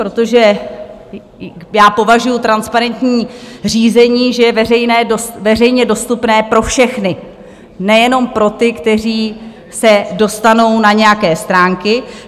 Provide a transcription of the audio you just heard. Protože já považuju transparentní řízení, že je veřejně dostupné pro všechny, nejenom pro ty, kteří se dostanou na nějaké stránky.